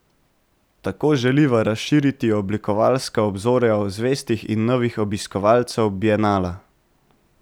Tako želiva razširiti oblikovalska obzorja zvestih in novih obiskovalcev bienala.